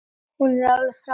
Hún er alveg frábær.